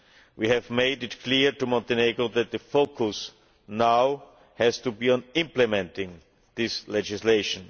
We have made it clear to Montenegro that the focus now has to be on implementing this legislation.